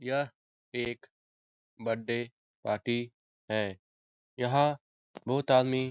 यह एक birthday party है यहाँ बहुत आदमी --